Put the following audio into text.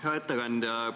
Hea ettekandja!